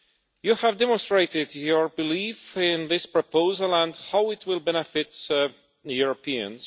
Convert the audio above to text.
You have demonstrated your belief in this proposal and how it will benefit Europeans.